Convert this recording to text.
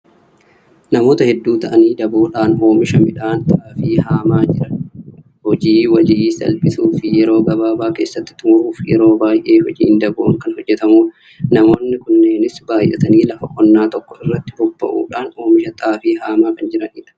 Namoota hedduu ta'anii daboodhaan oomisha midhaan xaafii haamaa jiran. Hojii walii salphisuu fi yeroo gabaabaa keessatti xumuruuf yeroo baay'ee hojiin daboon kan hojjetamudha. Namoonni kunneenis baay'atanii lafa qonnaa tokko irratti bobba'uudhaan oomisha xaafii haamaa kan jiranidha.